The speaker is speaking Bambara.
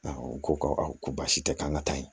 u ko ko awɔ ko baasi tɛ k'an ka taa yen